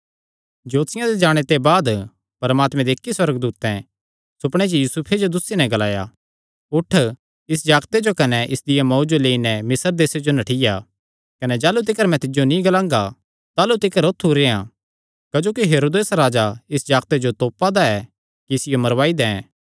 ज्योतिषियां दे जाणे ते बाद परमात्मे दे इक्की सुअर्गदूतैं सुपणे च यूसुफे जो दुस्सी नैं ग्लाया उठ इस जागते जो कने इसदिया मांऊ जो लेई नैं मिस्र देसे जो नठ्ठिया कने जाह़लू तिकर मैं तिज्जो नीं ग्लांगा ताह़लू तिकर औत्थू ई रेह्आं क्जोकि हेरोदेस राजा इस जागते जो तोपा दा ऐ कि इसियो मरवाई दैं